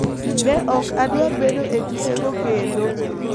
Ne ok adwar bedo e tukego kendo.